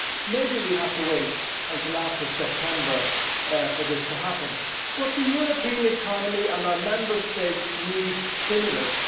Maybe we have to wait until after September for this to happen, but the European economy and our Member States need stimulus.